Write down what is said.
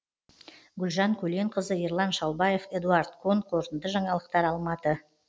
гүлжан көленқызы ерлан шалбаев эдуард кон қорытынды жаңалықтар алматы